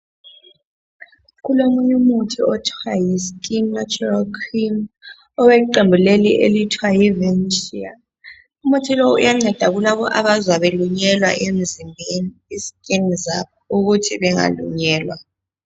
Kulomunye umuthi okuthiwa yi skin natural cream oweqembu leli elithiwa yi Vensia. Umuthi lo uyanceda kulabo abazwa belunyelwa emzimbeni . Isetshenziswa ukuthi bengalunyelwa.